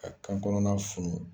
Ka kan kɔnɔna funu